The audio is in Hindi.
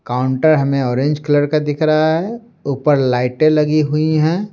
काउंटर हमें ऑरेंज कलर का दिख रहा है ऊपर लाइटें लगी हुई है।